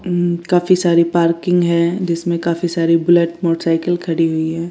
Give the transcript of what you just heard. काफी सारी पार्किंग है जिसमे काफी सारी बुलेट मोटर साइकिल खड़ी हुई है।